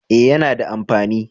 Eh yana da amfani